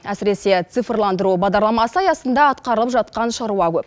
әсіресе цифрландыру бағдарламасы аясында атқарылып жатқан шаруа көп